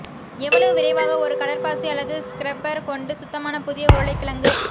எவ்வளவு விரைவாக ஒரு கடற்பாசி அல்லது ஸ்க்ரப்பர் கொண்டு சுத்தமான புதிய உருளைக்கிழங்கு